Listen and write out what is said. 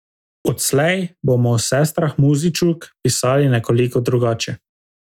Odslej bomo o sestrah Muzičuk pisali nekoliko drugače.